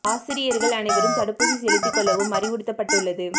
ஆசிரியர்கள் அனைவரும் தடுப்பூசி செலுத்தி கொள்ளவும் அறிவுறுத்தப்பட்டுள்ளது